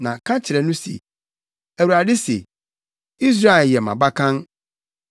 Na ka kyerɛ no se, ‘ Awurade se, Israel yɛ mʼabakan